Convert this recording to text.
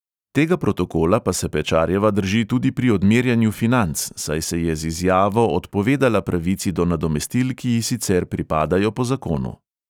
Tega protokola pa se pečarjeva drži tudi pri odmerjanju financ, saj se je z izjavo odpovedala pravici do nadomestil, ki ji sicer pripadajo po zakonu.